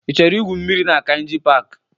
Ị chọrọ igwu mmiri na Kainji paaki?